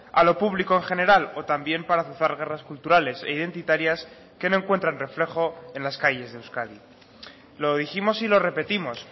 a lo público en general o también para azuzar guerras culturales e identitarias que no encuentran reflejo en las calles de euskadi lo dijimos y lo repetimos